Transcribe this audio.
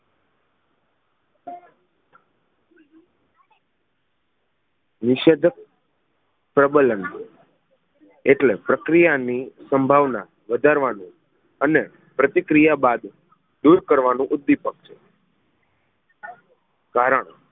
નિષેધક પ્રબલન ઍટલે પ્રક્રિયા ની સંભાવના વધારવાનું અને પ્રતિક્રિયા બાદ કરવાનું ઉદ્વિપક છે કારણ